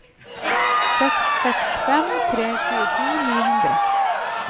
seks seks fem tre tjueto ni hundre